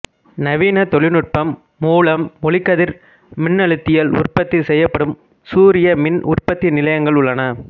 நவீனத் தொழில்நுட்பம் மூலம் ஒளிக்கதிர் மின்னழுத்தியில் உற்பத்தி செய்யப்படும் சூரிய மின் உற்பத்தி நிலையங்கள் உள்ளன